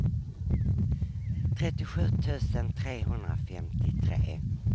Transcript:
trettiosju tusen trehundrafemtiotre